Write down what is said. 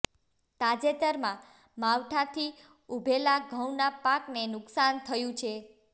તાજેતરમાં માવઠાંથી ઉભેલા ઘઉંના પાકને નુકસાન થયું છે